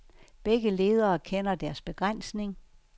Begge ledere kender deres begrænsning.